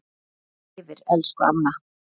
Minning þín lifir elsku amma.